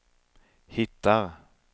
hittar